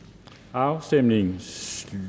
afstemningen